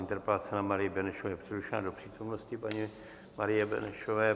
Interpelace na Marii Benešovou je přerušena do přítomnosti paní Marie Benešové.